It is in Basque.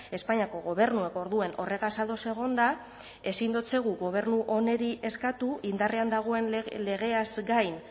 espainiako gobernuak orduan horregaz ados egonda ezin dotzegu gobernu honi eskatu indarrean dagoen legeaz gain